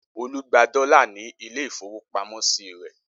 Olú gba dọ́là ní ilé-ìfowópamọ́sí rẹ̀?